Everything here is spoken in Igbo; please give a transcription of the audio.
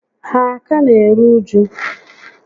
Ha a ka n'eru uju?